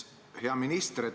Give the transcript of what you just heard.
Hea minister!